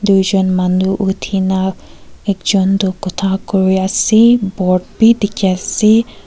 tuijon manu uthina ekjon toh khota kuriase board bi dikhiase.